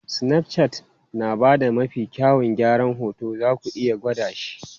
Snapchat yana ba da mafi kyawun gyaran hoto, zaku iya gwada shi.